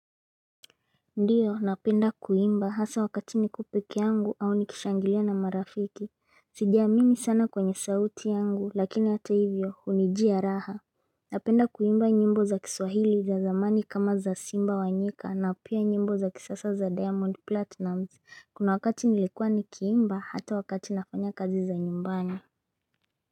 Ndio napenda kuimba haswa wakati niko pekee yangu au nikishangilia na marafiki Sijiamini sana kwenye sauti yangu lakini hata hivyo hunijia raha Napenda kuimba nyimbo za kiswahili za zamani kama za simba wa nyika na pia nyimbo za kisasa za diamond platinum kuna wakati nilikuwa nikiimba hata wakati nafanya kazi za nyumbani.